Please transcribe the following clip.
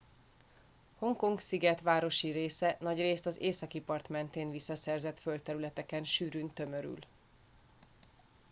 hongkong sziget városi része nagyrészt az északi part mentén visszaszerzett földterületeken sűrűn tömörül